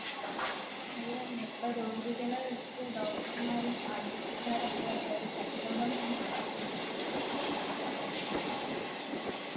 അത് തന്നെ ഇപ്പൊ രോഗികളെ വച്ച് Doctor മാരും ആശുത്രിക്കാരൊക്കെ ഒര് കച്ചവടം തന്നെ നടത്തുകയാണ്